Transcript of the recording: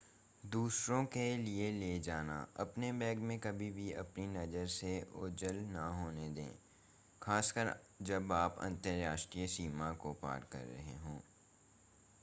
दूसरों के लिए ले जाना अपने बैग को कभी भी अपनी नज़र से ओझल ना होने दें खासकर जब आप अंतरराष्ट्रीय सीमा को पार कर रहे हों